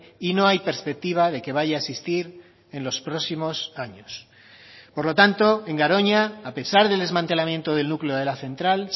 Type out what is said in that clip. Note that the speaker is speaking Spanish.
y no hay perspectiva de que vaya a existir en los próximos años por lo tanto en garoña a pesar del desmantelamiento del núcleo de la central